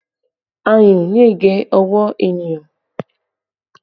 Ayùn lè gé ọwọ́ ènìyàn